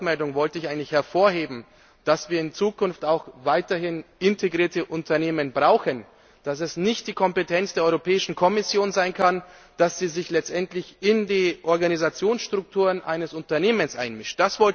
Mit meiner Wortmeldung wollte ich eigentlich hervorheben, dass wir in Zukunft auch weiterhin integrierte Unternehmen brauchen, dass es nicht die Kompetenz der Kommission sein kann, dass sie sich letztendlich in die Organisationsstrukturen eines Unternehmens einmischt.